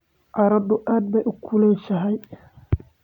Qorraxdu aad bay u kulushahay.